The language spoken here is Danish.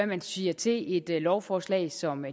man siger til et lovforslag som